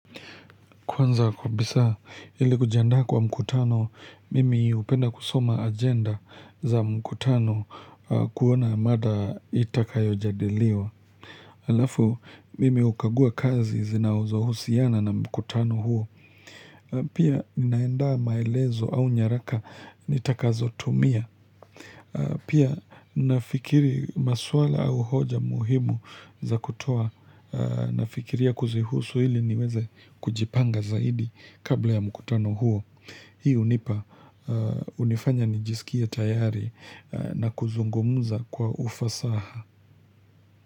Kwanza kabisa, ili kujiandaa kwa mkutano, mimi hupenda kusoma agenda za mkutano kuona mada itakayojadiliwa. Alafu, mimi hukagua kazi zinazohusiana na mkutano huo. Pia ninaandaa maelezo au nyaraka nitakazotumia. Pia nafikiri maswala au hoja muhimu za kutoa. Nafikiria kuzihusu ili niweze kujipanga zaidi kabla ya mkutano huo. Hii hunipa, hunifanya nijisikie tayari na kuzungumza kwa ufasaha.